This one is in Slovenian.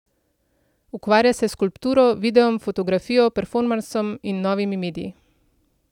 Ukvarja se s skulpturo, videom, fotografijo, performansom in novimi mediji.